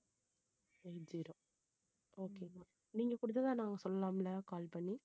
eight zero okay நீங்க கொடுத்ததா நான் சொல்லலாம்ல call பண்ணி